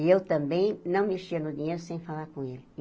E eu também não mexia no dinheiro sem falar com ele.